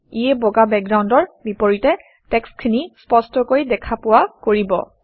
ইয়ে বগা বেকগ্ৰাউণ্ডৰ বিপৰীতে টেক্সটখিনি স্পষ্টকৈ দেখা পোৱা কৰিব